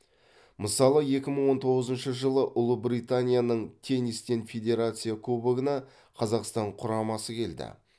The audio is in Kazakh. мысалы екі мың он тоғызыншы жылы ұлыбританияның теннистен федерация кубогына қазақстан құрамасы келді